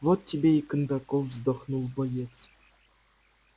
вот тебе и кондаков вздохнул боец